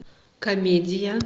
комедия